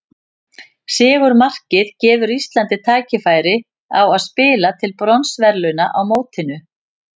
Sigurmarkið gefur Íslandi tækifæri á að spila til bronsverðlauna á mótinu.